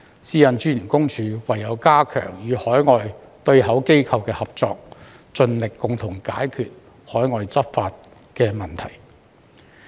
私隱公署唯有加強與海外對口機構的合作，盡力共同解決海外執法問題。